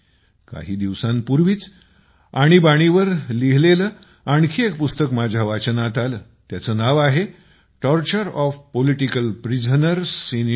काही दिवसांपूर्वीच आणीबाणीच्या विषयावर लिहिलेले आणखी एक पुस्तक माझ्या वाचनात आले त्याचे नाव आहे torture of political prisoner in India